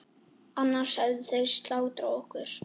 Annars hefðu þeir slátrað okkur.